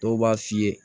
Dɔw b'a f'i ye